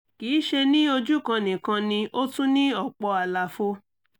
kì í ṣe ní ojú kan nìkan ni ó tún ní ọ̀pọ̀ àlàfo